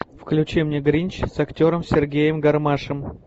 включи мне гринч с актером сергеем гармашем